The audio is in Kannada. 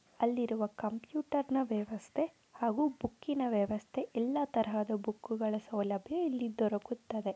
ಅಲ್ಲಿರುವ ಕಂಪ್ಯೂಟರ್ನ ವ್ಯವಸ್ಥೆ ಹಾಗೂ ಬುಕ್ಕಿನ ವ್ಯವಸ್ಥೆ ಹಾಗೂ ಎಲ್ಲ ತರಹದ ಸೌಲಭ್ಯ ಇಲ್ಲಿ ದೊರಕುತ್ತದೆ .